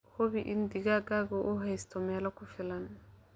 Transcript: Hubi in digaaggu uu haysto meel ku filan.